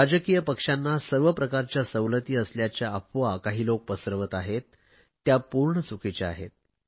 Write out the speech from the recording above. राजकीय पक्षांना सर्व प्रकारच्या सवलती असल्याच्या अफवा काही लोक पसरवत आहे त्या पूर्ण चुकीच्या आहेत